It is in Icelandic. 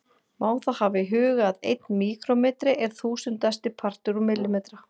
Má þá hafa í huga að einn míkrómetri er þúsundasti partur úr millimetra.